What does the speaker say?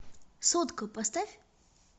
сотка поставь